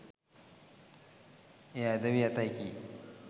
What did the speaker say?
එය ඇද වී ඇතැයි කී